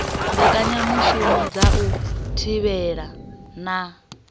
mbekanyamushumo dza u thivhela na